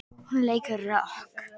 Hún leikur rokk.